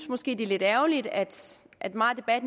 måske er lidt ærgerligt at at meget af